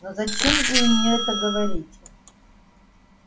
ну зачем же вы мне это говорите